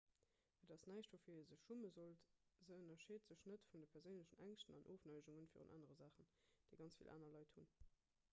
et ass näischt woufir ee sech schumme sollt se ënnerscheet sech net vun de perséinlechen ängschten an ofneigunge virun anere saachen déi ganz vill aner leit hunn